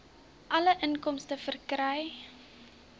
alle inkomste verkry